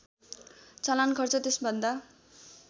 चलान खर्च त्यसभन्दा